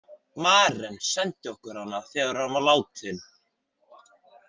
Maren sendi okkur hana þegar hann var látinn.